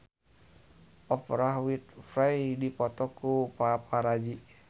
Oprah Winfrey dipoto ku paparazi